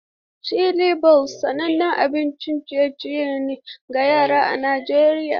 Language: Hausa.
Chizbol sanannen abincin ciye-ciye ne ga yara a Najeriya.